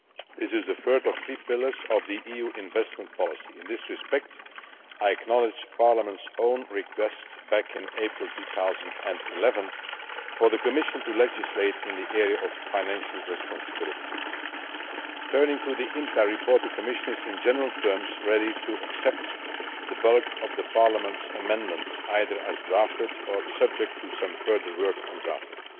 This is the third of three pillars of the EU's investment policy. In this respect, I acknowledge Parliament's own request in April 2011 for the Commission to legislate in the area of financial responsibility. Turning to the INTA report, the Commission is, in general terms, ready to accept the bulk of Parliament's amendments, either as drafted or subject to some further work on drafting.